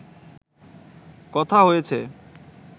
কথা হয়েছে